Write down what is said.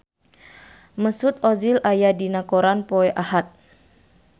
Mesut Ozil aya dina koran poe Ahad